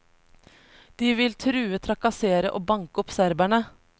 De vil true, trakassere og banke opp serberne.